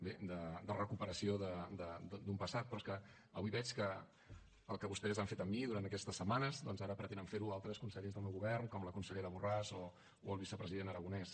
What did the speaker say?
bé de recuperació d’un passat però és que avui veig que el que vostès han fet amb mi durant aquestes setmanes doncs ara pretenen fer ho amb altres consellers del meu govern com la consellera borràs o el vicepresident aragonès